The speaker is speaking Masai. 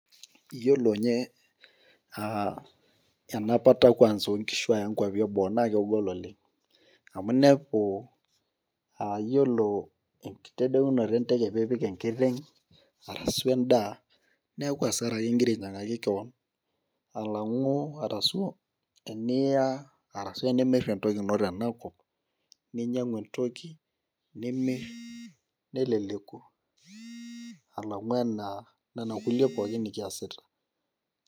iyiolo ninye enapata oonkishu aya inkwapi eboo naa kegol oleng' amu iyiolo enkitadounoto enteke pee ipik enkiteng' arasu edaa naa keku asara ake igira ayaki kewan alang'u arasu tiniya arasu tinimir entoki ino tenakop ninyang'u entoki nimir neleleku alang'u nena kulie pooki nikiyasita.